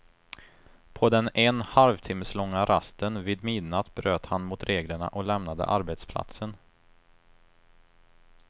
På den en halvtimmeslånga rasten vid midnatt bröt han mot reglerna och lämnade arbetsplatsen.